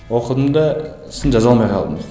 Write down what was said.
оқыдым да сосын жаза алмай қалдым